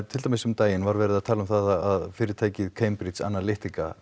til dæmis um daginn var verið að tala um það að fyrirtækið Cambridge Analytica